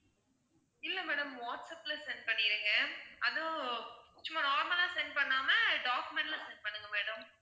இல்ல madam வாட்ஸப்ல send பண்ணிருங்க அதுவும் சும்மா normal லா send பண்ணாம document ல send பண்ணுங்க madam